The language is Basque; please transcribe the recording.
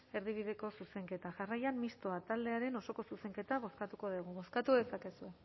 erdibideko zuzenketa jarraian mistoa taldearen osoko zuzenketa bozkatuko dugu bozkatu dezakezu